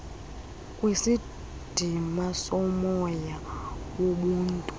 kwisidima somoya wobuntu